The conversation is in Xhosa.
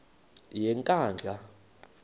yenkandla